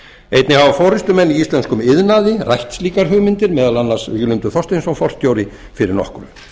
einnig hafa forustumenn í íslenskum iðnaði rætt slíkar hugmyndir meðal annars víglundur þorsteinsson forstjóri fyrir nokkru